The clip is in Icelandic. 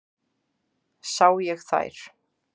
Sá ég þær.